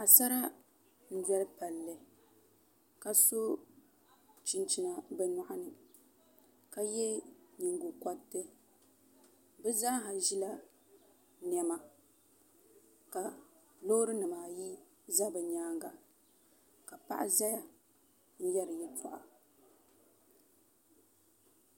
Paɣasara n doli palli ka so chinchina bi nyoɣani ka yɛ nyingokoriti bi zaa ha ʒila niɛma ka loori nimaayi ʒɛ bi nyaanga ka paɣa ʒɛya n yɛri yɛltɔɣa